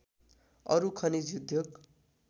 अरू खनिज उद्योग